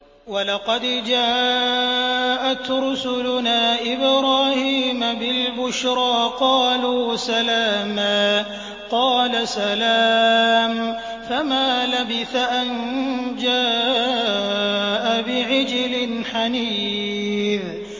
وَلَقَدْ جَاءَتْ رُسُلُنَا إِبْرَاهِيمَ بِالْبُشْرَىٰ قَالُوا سَلَامًا ۖ قَالَ سَلَامٌ ۖ فَمَا لَبِثَ أَن جَاءَ بِعِجْلٍ حَنِيذٍ